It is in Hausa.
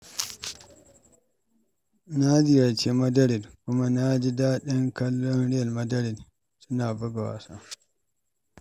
Na ziyarci Madrid kuma na ji daɗin kallon Real Madrid suna buga wasa.